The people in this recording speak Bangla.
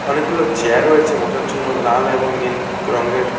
অনেকগুলো চেয়ার রয়েছে বসার জন্য লাল এবং নীল রঙ্গের ।